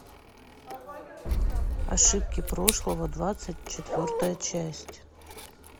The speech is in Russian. ошибки прошлого двадцать четвертая часть